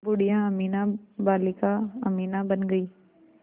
बूढ़िया अमीना बालिका अमीना बन गईं